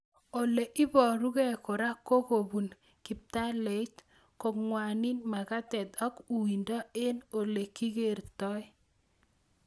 Ole iparukei kora ko kopun kiptaleit, kong'wani mag'atet ak uindo eng' ole ikertoi